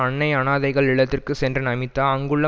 அன்னை அனாதைகள் இல்லத்திற்கு சென்ற நமிதா அங்குள்ள